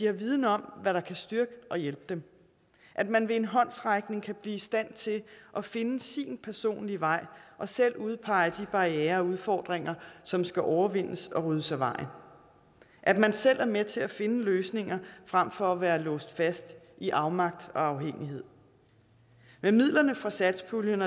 er vidende om hvad der kan styrke og hjælpe dem at man ved en håndsrækning bliver i stand til at finde sin personlige vej og selv udpege de barrierer og udfordringer som skal overvindes og ryddes af vejen at man selv er med til at finde løsninger frem for at være låst fast i afmagt og afhængighed med midlerne fra satspuljen